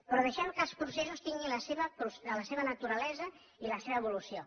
però deixem que els processos tinguin la seva naturalesa i la seva evolució